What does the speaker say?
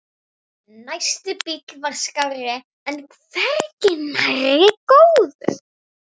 Næsti bíll var skárri en hvergi nærri góður.